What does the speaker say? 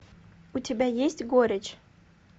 у тебя есть горечь